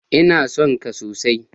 Ina son ka sosai.